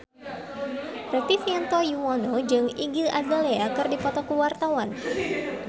Rektivianto Yoewono jeung Iggy Azalea keur dipoto ku wartawan